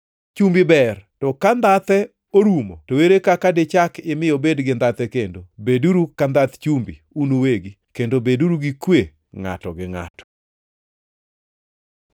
“Chumbi ber, to ka ndhathe orumo to ere kaka dichak imi obed gi ndhathe kendo? Beduru ka ndhath chumbi un uwegi, kendo beduru gi kwe ngʼato gi ngʼato.”